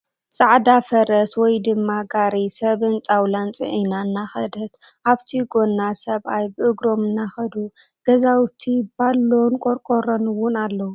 ፃዕዳ ፈርስ ወይ ድማ ጋሪ ስብን ጣዉላን ፂዒና እናከደት ኣብቲ ጎና ሰብኣይ ብእግሮም እናከዱ ገዛዉቲ ባሎን ቆርቆሮን እዉን ኣለዉ ።